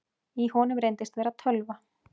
Í honum reyndist vera tölva